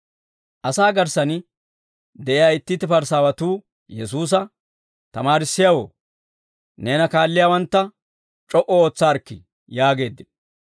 Asaa garssan de'iyaa itti itti Parisaawatuu Yesuusa, «Tamaarissiyaawoo, neena kaalliyaawantta c'o"u ootsaarikkii» yaageeddino.